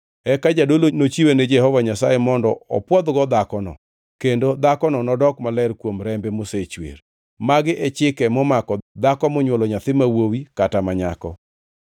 Eka jadolo nochiwe ni Jehova Nyasaye mondo opwodhgo dhakono, kendo dhakono nodok maler kuom rembe mosechwer. “ ‘Magi e chike momako dhako monywolo nyathi ma wuowi kata ma nyako.